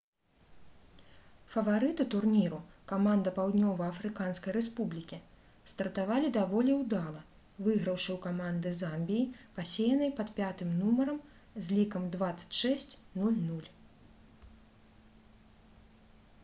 фаварыты турніру каманда паўднёва-афрыканскай рэспублікі стартавалі даволі ўдала выйграўшы ў каманды замбіі пасеянай пад 5-м нумарам з лікам 26-00